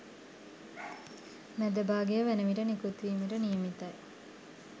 මැද භාගය වන විට නිකුත් වීමට නියමිතයි